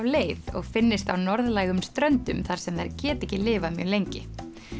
leið og finnist á norðlægum ströndum þar sem þær geta ekki lifað mjög lengi